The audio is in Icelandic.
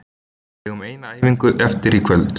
Við eigum eina æfingu eftir í kvöld.